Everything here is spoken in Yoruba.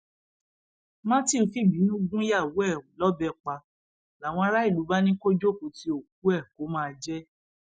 matthew fìbínú gúnyàwó ẹ lọbẹ pa làwọn aráàlú bá ní kó jókòó tí òkú ẹ kó máa jẹ ẹ